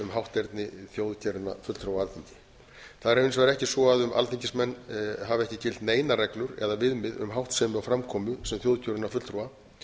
hátterni þjóðkjörinna fulltrúa á alþingi það er hins vegar ekki svo um alþingismenn hafa ekki gilt neinar reglur eða viðmið um háttsemi og framkomu sem þjóðkjörinna fulltrúa